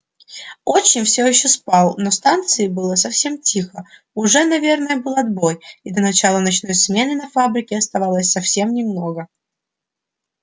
отчим всё ещё спал на станции было совсем тихо уже наверное был отбой и до начала ночной смены на фабрике оставалось совсем немного